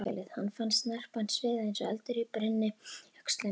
Hann fann snarpan sviða eins og eldur brynni í öxlinni.